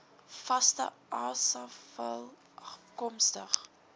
vaste asafval afkomstig